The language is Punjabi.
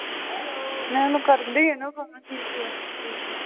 ਮੈਂ ਉਹਨੂੰ ਕਰਦੀ ਆਂ ਨਾ